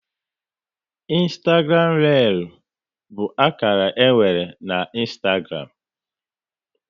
Ịnstagram réel bụ akara e nwere na Ịnstagram